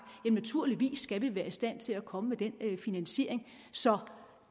vi naturligvis skal være i stand til at komme med den finansiering så